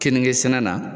Keninge sɛnɛ na